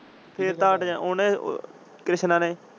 ਓਹਨੇ ਕ੍ਰਿਸ਼ਨਾ ਨੇ।